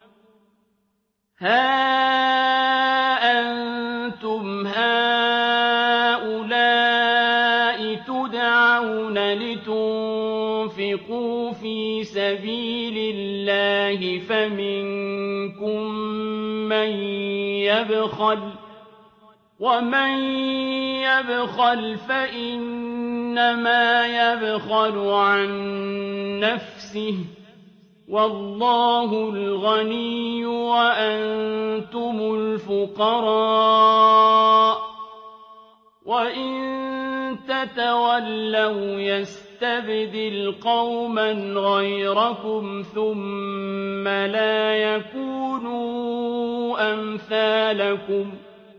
هَا أَنتُمْ هَٰؤُلَاءِ تُدْعَوْنَ لِتُنفِقُوا فِي سَبِيلِ اللَّهِ فَمِنكُم مَّن يَبْخَلُ ۖ وَمَن يَبْخَلْ فَإِنَّمَا يَبْخَلُ عَن نَّفْسِهِ ۚ وَاللَّهُ الْغَنِيُّ وَأَنتُمُ الْفُقَرَاءُ ۚ وَإِن تَتَوَلَّوْا يَسْتَبْدِلْ قَوْمًا غَيْرَكُمْ ثُمَّ لَا يَكُونُوا أَمْثَالَكُم